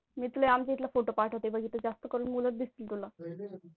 मी तुला आमचे इथला photo पाठवतो बघ तिथे जास्त करून मुलं दिसतील तुला.